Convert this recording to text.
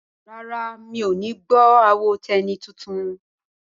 Rárá, mi ò ní gbọ́ àwo Tẹ́ní tuntun?